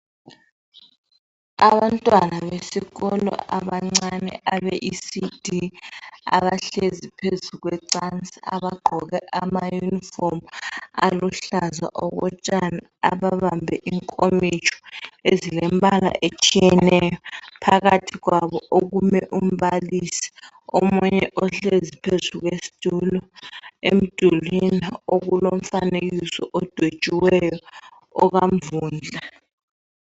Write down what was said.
Abantwana besikolo abancane abe ecd abahlezi phezu kwecansi abagqoke amayunifomu aluhlaza okotshani ababambe inkomitsho ezilompala otshiyeneyo phakathi kwabo okume umbalisi omuye uhlezi phezu kwesitulo emdulwini okulomfanekiso odwetshiweyo okamvundla.